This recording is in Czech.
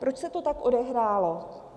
Proč se to tak odehrálo?